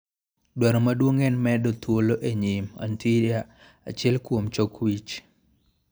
Dwaro maduong' en medo thuolo e nyim (anterior) achiel kuom chok wich.